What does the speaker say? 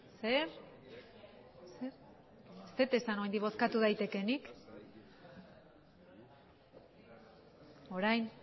zer ez dut esan oraindik bozkatu daitekeenik orain